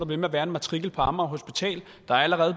ved med at være en matrikel på amager hospital der er allerede